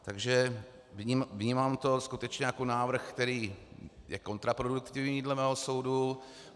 Takže vnímám to skutečně jako návrh, který je kontraproduktivní dle mého soudu.